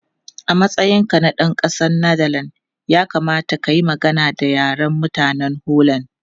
A matsayinka na ɗan ƙasar Netherlands, ya kamata ka yi magana da Yaren mutanen Holland.